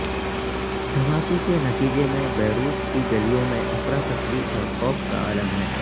دھماکے کے نتیجے میں بیروت کی گلیوں میں افراتفری اور خوف کا عالم ہے